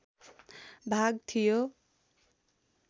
भाग थियो